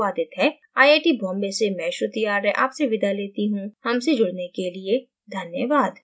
यह tutorial this Amit Kumar द्वारा अनुवादित है आईआईटी बॉम्बे से मैं श्रुति आर्य आपसे विदा लेती हूँ हमसे जुड़ने के लिए धन्यवाद